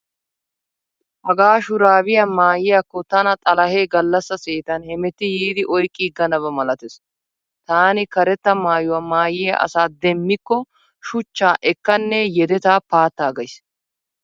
Hagaa shuraabiya maayyiyaakko tana xalahee gallassa seetan hemetti yiidi oyqqiiganaba malatees. Taani karetta maayuwa maayyiya asa demmikko shuchchaa ekkanne yedetaa paattaagays.